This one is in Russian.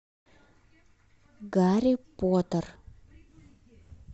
гарри поттер